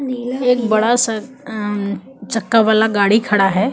एक बड़ा सा अम चक्का वाला गाड़ी खड़ा है।